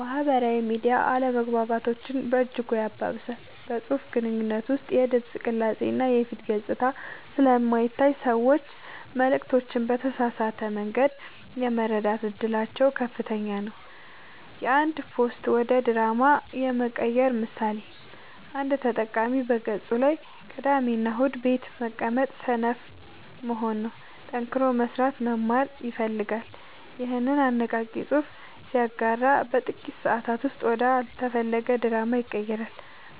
ማህበራዊ ሚዲያ አለመግባባቶችን በእጅጉ ያባብሳል። በፅሁፍ ግንኙነት ውስጥ የድምፅ ቅላፄ እና የፊት ገፅታ ስለማይታይ ሰዎች መልዕክቶችን በተሳሳተ መንገድ የመረዳት እድላቸው ከፍተኛ ነው። የአንድ ፖስት ወደ ድራማ የመቀየር ምሳሌ፦ አንድ ተጠቃሚ በገፁ ላይ "ቅዳሜና እሁድ ቤት መቀመጥ ሰነፍ መሆን ነው፣ ጠንክሮ መስራትና መማር ያስፈልጋል" ይኸንን አነቃቂ ፅሑፍ ሲያጋራ በጥቂት ሰአታት ውስጥ ወደ አልተፈለገ ድራማ ይቀየራል።